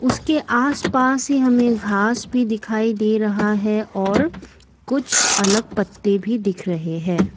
उसके आस पास ही हमें घास भी दिखाई दे रहा है और कुछ अलग पत्ते भी दिख रहे है।